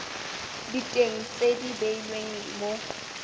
diteng tse di beilweng mo